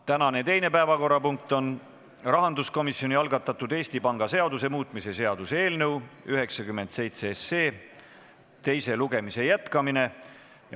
Tänane teine päevakorrapunkt on rahanduskomisjoni algatatud Eesti Panga seaduse muutmise seaduse eelnõu 97 teise lugemise jätkamine.